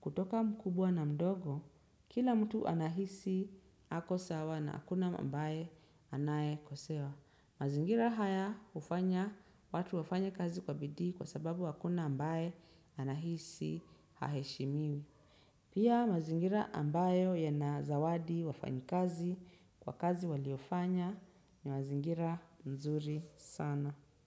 kutoka mkubwa na mdogo, kila mtu anahisi ako sawa na hakuna mbaye anakosewa. Mazingira haya hufanya watu wafanye kazi kwa bidii kwa sababu hakuna mbaye anahisi haheshimiwi. Pia mazingira ambayo yana zawadi wafanakazi kwa kazi waliofanya ni mazingira mzuri sana.